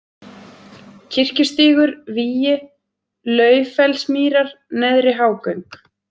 Kirkjustígur, Vígi, Laufellsmýrar, Neðri-Hágöng